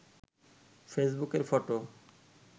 ফেসবুকের ফটো